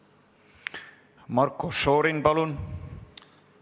Marko Šorin, palun!